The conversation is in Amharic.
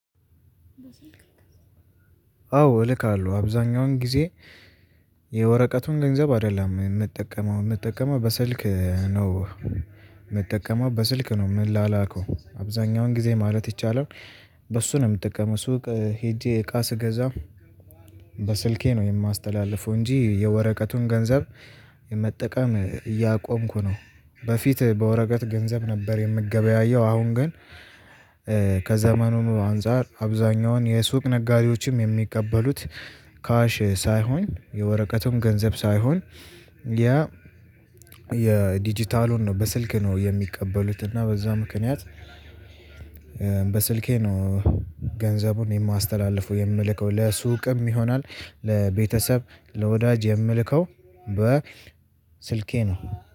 አዎ እልካለሁ አብዛኛውን ጊዜ የወረቀቱን ገንዘብ አይደለም የምጠቀመው የምጠቀመው በስልክ ነው የምጠቀመው በስልክ ነው ምላላከው አብዛኛውን ጊዜ ማለት ይቻላል። በሱ ነው የምትጠቀመው ስውቅ ሄጄ እቃ ስገዛም። በስልኬ ነው የማስተላልፈው እንጂ የወረቀቱን ገንዘብ የመጠቀም እያቆምኩ ነው። በፊት በወረቀት ገንዘብ ነበር የምገበያየው አሁን ግን። ከዘመኑ አንፃር አብዛኛውን የሱቅ ነጋዴዎችም የሚቀበሉት ካሽ ሳይሆን የወረቀቱን ገንዘብ ሳይሆን። ያ የዲጂታሉን ነው በስልክ ነው የሚቀበሉት እና በዛ ምክንያት። በስልኬ ነው ገንዘቡን የማስተላልፈው የምልከው ለሱቅም ይሆናል ለቤተሰብ ለወዳጅ የምልከው በስልኬ ነው።